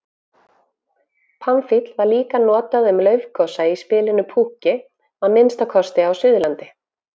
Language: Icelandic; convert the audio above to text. Pamfíll var líka notað um laufagosa í spilinu púkki, að minnsta kosti á Suðurlandi.